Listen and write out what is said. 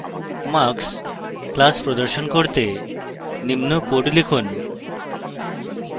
marks class প্রদর্শন করতে নিম্ন code লিখুন